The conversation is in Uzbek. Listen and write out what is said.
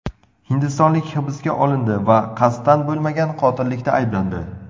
Hindistonlik hibsga olindi va qasddan bo‘lmagan qotillikda ayblandi.